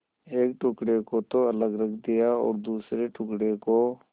एक टुकड़े को तो अलग रख दिया और दूसरे टुकड़े को